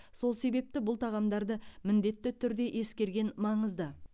сол себепті бұл тағамдарды міндетті түрде ескерген маңызды